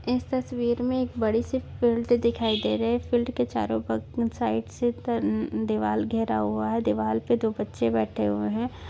इस तस्वीर मे बडीसी फील्ड दिखाई दे रही है फील्ड के चारो ब साइडसे तन दीवारघेरा हुआ है दीवारपे दो बच्चे बैठे हुए है।